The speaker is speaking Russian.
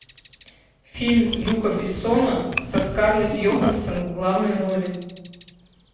фильм люка бессона со скарлетт йоханссон в главной роли